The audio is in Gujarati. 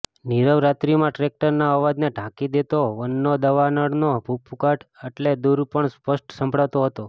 નીરવ રાત્રીમાં ટ્રૅક્ટરના અવાજને ઢાંકી દેતો વનોના દાવાનળનો ભભૂકાટ આટલે દૂર પણ સ્પષ્ટ સંભળાતો હતો